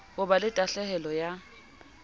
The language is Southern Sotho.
ho ba la tahlehelo ya